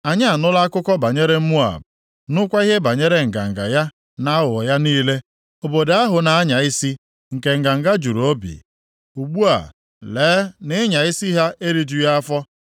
Anyị anụla akụkọ banyere Moab, nụkwa ihe banyere nganga + 16:6 \+xt Jer 48:29; Ọbd 3; Zef 2:8\+xt* ya na aghụghọ ya niile. Obodo ahụ na-anya isi, nke nganga juru obi? Ugbu a, lee na ịnya isi ha erijughị afọ.